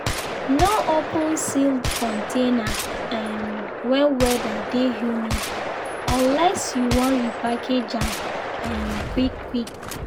no open sealed container um when weather dey humid unless you wan repackage am um quick-quick.